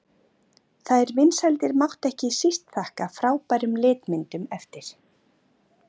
Þær vinsældir mátti ekki síst þakka frábærum litmyndum eftir